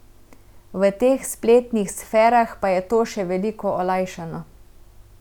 V teh spletnih sferah pa je to še veliko olajšano.